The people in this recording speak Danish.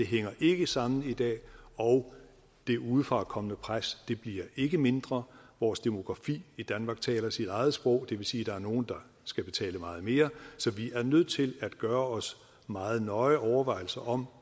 det hænger ikke sammen i dag og det udefra kommende pres bliver ikke mindre vores demografi i danmark taler sit eget sprog og det vil sige at der er nogle der skal betale meget mere så vi er nødt til at gøre os meget nøje overvejelser om